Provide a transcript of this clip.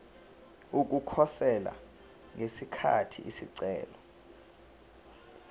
ukukhosela ngesikhathi isicelo